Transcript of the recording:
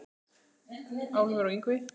Álfur og Yngvi